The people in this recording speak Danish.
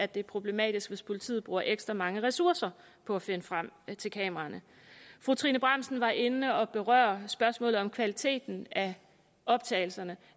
det er problematisk hvis politiet bruger ekstra mange ressourcer på at finde frem til kameraerne fru trine bramsen var inde at berøre spørgsmålet om kvaliteten af optagelserne